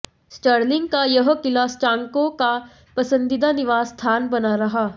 Stirling का यह क़िला स्कॉटों का पसंदीदा निवास स्थान बना रहा